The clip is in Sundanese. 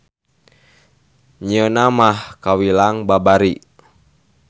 Nyieunna mah kawilang babari.